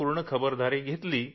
आपण जर पूर्ण काळजी घेतली तर